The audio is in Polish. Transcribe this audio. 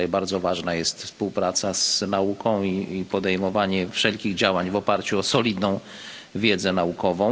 Tutaj bardzo ważna jest współpraca z nauką i podejmowanie wszelkich działań w oparciu o solidną wiedzę naukową.